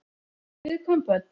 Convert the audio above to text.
Fyrir viðkvæm börn.